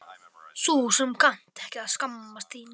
Þú sem kannt ekki að skammast þín.